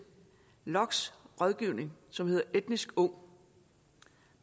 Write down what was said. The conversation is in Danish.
lokks rådgivning som hedder etnisk ung